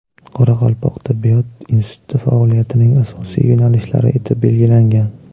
Qoraqalpoq tibbiyot instituti faoliyatining asosiy yo‘nalishlari etib belgilangan.